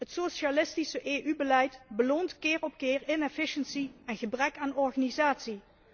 Het socialistische EU beleid beloont keer op keer inefficiency en gebrek aan organisatie.